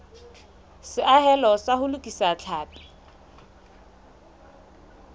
seahelo sa ho lokisa tlhapi